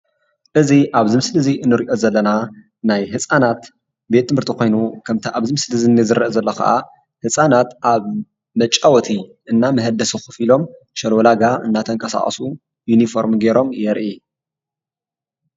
እዚ አብዚ ምስሊ እዚ እንሪኦ ዘለና ናይ ህፃናት ቤት ትምህርቲ ኮይኑ ከምቲ ኣብዚ ምስሊ እዚ ዝረእ ዘሎ ከዓ ህፃናት ኣብ መፃወቲ እና መህደሲ ከፍሎም ሽለውላጋ እንዳተቀሳቀሱ ይኒፎርም ገይሮም የርኢ።